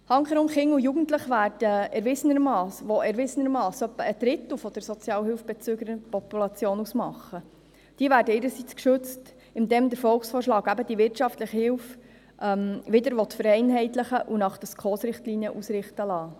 Handkehrum werden Kinder und Jugendliche, die erwiesenermassen etwa ein Drittel der Sozialhilfebezüger-Population ausmachen, ihrerseits geschützt, indem der Volksvorschlag eben die wirtschaftliche Hilfe wieder vereinheitlichen und nach den SKOS-Richtlinien ausrichten will.